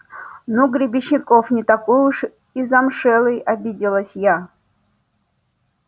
ну гребенщиков не такой уж и замшелый обиделась я